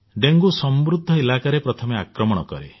dengue ସମୃଦ୍ଧ ଇଲାକାରେ ପ୍ରଥମେ ଆକ୍ରମଣ କରେ